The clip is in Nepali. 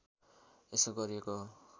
यसो गरिएको हो